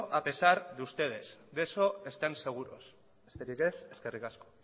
a pesar de ustedes de eso estén seguros besterik ez eskerrik asko